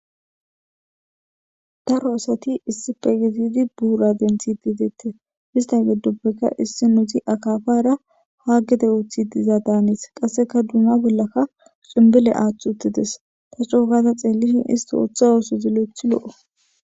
daro asati issi pegizidi buura denti dideette hista geddoppeka issi nuuzi akafara haa gede ooththidiza daanis qasseka duuma bollaka cumbile aathth uttides ta cookata xeellishin isti ooththa oosu zilo7ethi lo7o